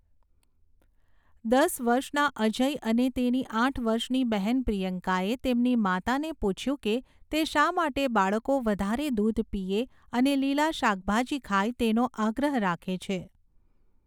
દસ વર્ષના અજય અને તેની આઠ વર્ષની બહેન પ્રિયંકાએ તેમની માતાને પૂછ્યું કે તે શા માટે બાળકો વધારે દૂધ પીએ અને લીલા શાકભાજી ખાય તેનો આગ્રહ રાખે છે.